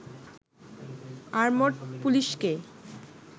armed পুলিশকে